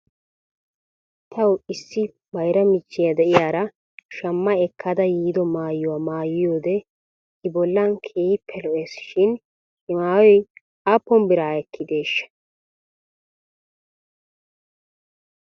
Taw issi bayra michchi de'iyaara shamma ekkada yiido maayuwaa maayiiyoo ide i bollan keehippe lo'es shin he maayoy aappun bira ekkideeshsha?